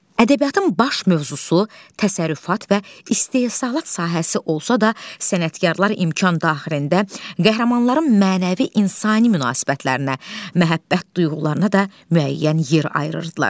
Ədəbiyyatın baş mövzusu təsərrüfat və istehsalat sahəsi olsa da, sənətkarlar imkan daxilində qəhrəmanların mənəvi insani münasibətlərinə, məhəbbət duyğularına da müəyyən yer ayırırdılar.